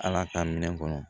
Ala ka minɛn kɔnɔ